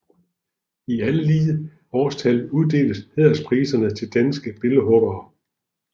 I alle lige årstal uddeles hæderspriserne til danske billedhuggere